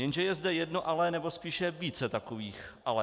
Jenže je zde jedno ale, nebo spíše více takových ale.